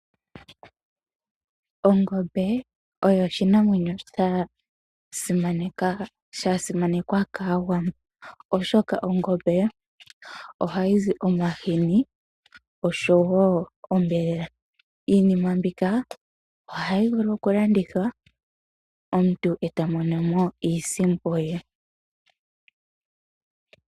Ongombe oyo oshinamwenyo sha simanekwa kAawambo, oshoka ongombe ohayi zi omahini noshowo onyama. Iinima mbika ohayi vulu okulandithwa, omuntu e ta mono mo iisimpo ye.